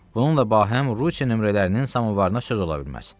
Bununla bahəm Rusiya nömrələrinin samovarına söz ola bilməz.